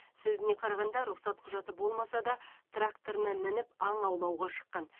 сөзіне қарағанда рұқсат құжаты болмаса да тракторына мініп аң аулауға шыққан